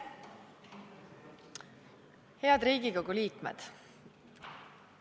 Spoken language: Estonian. Head Riigikogu liikmed!